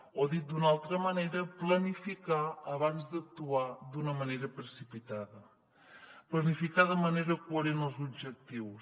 o dit d’una altra manera planificar abans d’actuar d’una manera precipitada planificar de manera coherent els objectius